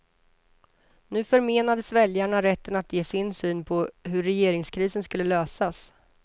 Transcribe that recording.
Nu förmenades väljarna rätten att ge sin syn på hur regeringskrisen skulle lösas.